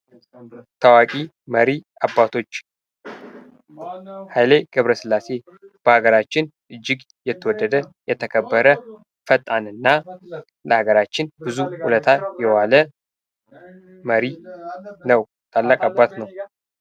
ታዋቂ መሪ አባቶች ኃይሌ ገብረ ስላሴ በሀገራችን እጅግ የተወደደ ፣የተከበረ ፈጣንና ለሀገራችን ብዙ ውለታ የዋለ መሪ ነው ታላቅ አባት ነው::